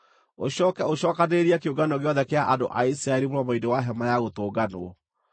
ũcooke ũcookanĩrĩrie kĩũngano gĩothe kĩa andũ a Isiraeli mũromo-inĩ wa Hema-ya-Gũtũnganwo.”